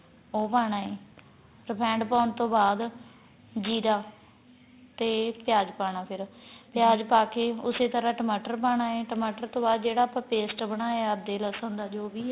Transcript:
ਉਹ ਪਾਣਾ ਏ ਰਫੇੰਡ ਪਾਣ ਤੋਂ ਬਾਅਦ ਜੀਰਾ ਤੇ ਪਿਆਜ ਪਾਣਾ ਫੇਰ ਪਾ ਕੇ ਉਸੇ ਤਰ੍ਹਾਂ ਟਮਾਟਰ ਪਾਣਾ ਏ ਟਮਾਟਰ ਤੋਂ ਬਾਅਦ ਜਿਹੜਾ ਆਪਾਂ paste ਬਣਾਇਆ ਅਧਰਕ ਤੇ ਲਸਣ ਦਾ ਜੋ ਵੀ